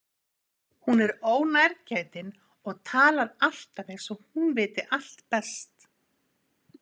Hún er ónærgætin og talar alltaf eins og hún viti allt best.